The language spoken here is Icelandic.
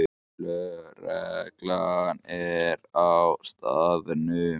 Lögreglan er á staðnum